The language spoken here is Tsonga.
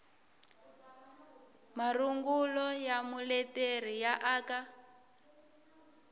marungulo ya muleteri ya aka